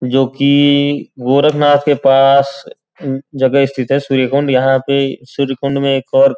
जो कि गोरखनाथ के पास जगह स्थित है श्रीकुंड। यहाँ पे श्रीकुंड में एक और --